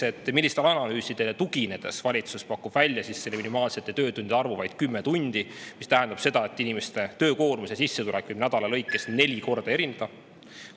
Teiseks, millistele analüüsidele tuginedes pakub valitsus välja minimaalse töötundide arvu, vaid 10 tundi, mis tähendab seda, et inimese töökoormus ja sissetulek võivad nädala lõikes neli korda erineda?